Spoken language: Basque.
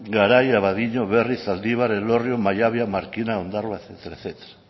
garai abadiño berriz zaldibar elorrio maiabia markina ondarroa etcétera etcétera